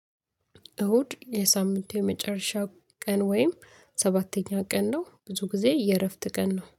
እሁድ የሳምንቱ የመጨረሻው ቀን ወይም ሰባተኛ ቀን ነው። ብዙ ጊዜ የእረፍት ቀን ነው